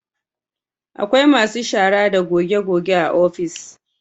Akwai masu shara da goge goge a ofis